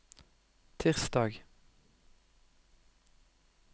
tirsdag